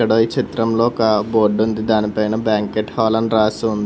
ఇడ ఈ చిత్రంలో ఒక బోర్డుంది దానిపైన బ్యాంకేట్ హాల్ అని రాసి ఉంది.